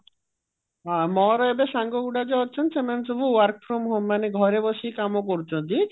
ହଁ ମୋର ଏବେ ସଙ୍ଗଗୁଡା ଯୋଉ ଅଛନ୍ତି ସେମାନେ ସବୁ work from home ମାନେ ଘରେ ବସିକି କାମ କରୁଛନ୍ତି